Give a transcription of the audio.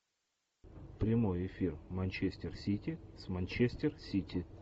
прямой эфир манчестер сити с манчестер сити